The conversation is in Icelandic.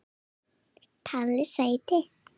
Palli sæti!!